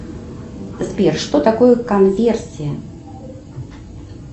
сбер что такое конверсия